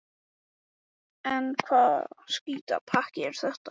Hvað er að þessu skítapakki?